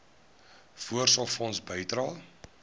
voorsorgfonds bydrae